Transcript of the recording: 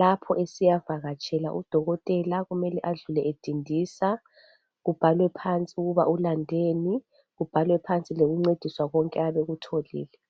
lapho esiyavakatshela udokotela kumele adlule edindisa, kubhalwe phansi ukuba ulandeni, kubhalwe phansi lokuncediswa konke ayabekutholile.